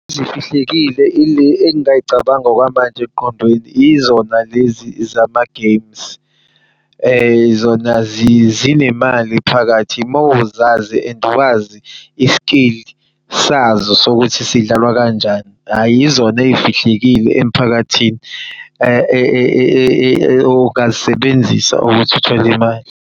Ezifihlekile ile engingayicabanga okwamanje emqondweni izona lezi zama games. Zona zinemali phakathi mawuzazi and wazi i-skill sazo sokuthi sidlalwa kanjani. Hhayi, yizona ezifihlekile emphakathini ongazisebenzisa ukuthi uthol'imali.